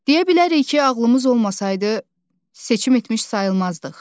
Deyə bilərik ki, ağlımız olmasaydı, seçim etmiş sayılmazdıq.